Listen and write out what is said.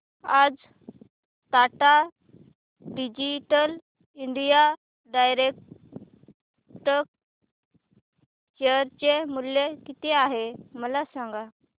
आज Tata digital India direct share चे मूल्य किती आहे मला सांगा